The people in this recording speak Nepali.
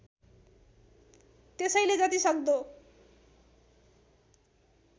त्यसैले जति सक्दो